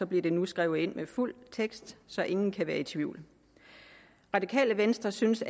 bliver det nu skrevet ind med fuld tekst så ingen kan være i tvivl radikale venstre synes